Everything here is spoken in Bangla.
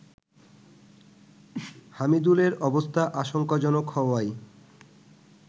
হামিদুলের অবস্থা আশঙ্কাজনক হওয়ায়